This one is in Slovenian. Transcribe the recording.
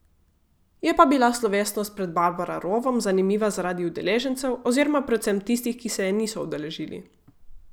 Je pa bila slovesnost pred Barbara rovom zanimiva zaradi udeležencev oziroma predvsem tistih, ki se je niso udeležili.